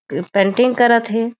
की painting करत थे।